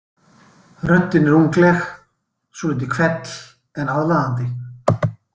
Röddin er ungleg, svolítið hvell en aðlaðandi.